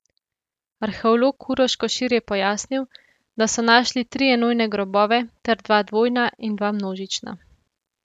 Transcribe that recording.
Arheolog Uroš Košir je pojasnil, da so našli tri enojne grobove ter dva dvojna in dva množična.